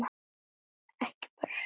Ekki bara sumt.